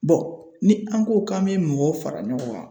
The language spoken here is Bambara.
Bɔn ni an ko k'an be mɔgɔw fara ɲɔgɔn kan